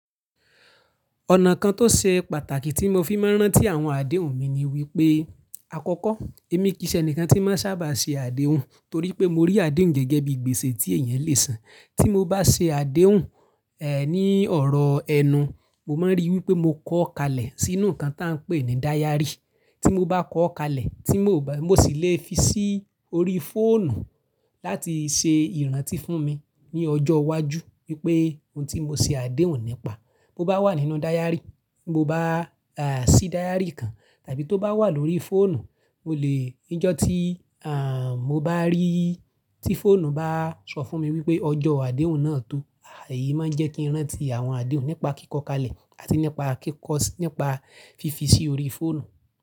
Ọ̀nà kan tó ṣe pàtàkì tí mo fi máa ń rántí àwọn àdéhùn mi ni wípé àkọ́kọ́ èmi kì í ṣe ẹni kan tí máa ń sábà ṣe àdéhùn torí pé mo rí àdéhùn gẹ́gẹ́ bí gbèsè tí èèyàn lè san. Tí mo bá ṣe àdéhùn, ẹ́, ní ọ̀rọ̀ ẹnu, mo máa ń rí wípé mo kọ́ kalẹ̀ sínú nǹkan tí à ń pè ní dáyárì. Tí mo bá kọ́ kalẹ̀ tí mo ò bá, mo sì le fi sí orí fóònù láti ṣe ìrántí fún mi ní ọjọ́ iwájú wípé ohun tí mo ṣe àdéhùn nípa. Bo bá wà nínú dáyárì, bo bá, à, sí dáyárì kan tàbí tó bá wà lórí fóònù, mo le, níjọ́ tí, à, mo bá rí, tí fóònù bá sọ fún mi wípé ọjọ́ àdéhùn náà tó, èyí máa ń jẹ́ kí n rántí àwọn àdéhùn nípa kíkọ́ kalẹ̀ àti nípa kíkọ́ sí-- nípa fífi sí orí fóònù.